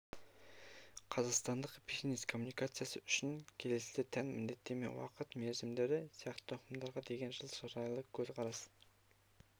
қазақстандық бизнес-коммуникациясы үшін келесі тән міндеттеме уақыты-мерзімдері сияқты ұғымдарға деген жылы шырайлы көзқарас